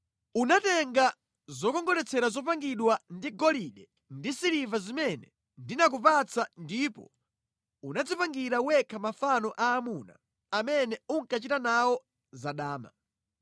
Unatenga zokongoletsera zopangidwa ndi golide ndi siliva zimene ndinakupatsa ndipo unadzipangira wekha mafano aamuna amene unkachita nawo za dama.